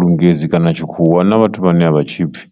lungezi kana tshikhuwa hu na vhathu vhane a vha tshipfhi,